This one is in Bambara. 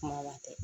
Kuma latigɛ